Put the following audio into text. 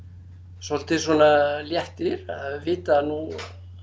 svolítið svona léttir að vita að nú